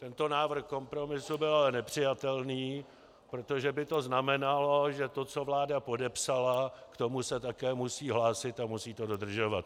Tento návrh kompromisu byl ale nepřijatelný, protože by to znamenalo, že to, co vláda podepsala, k tomu se také musí hlásit a musí to dodržovat.